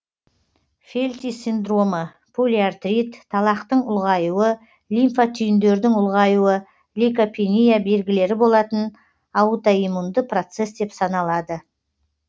фелти синдромы полиартрит талақтың ұлғаюы лимфа түйіндердің ұлғаюы лейкопения белгілері болатын аутоиммунды процесс деп саналады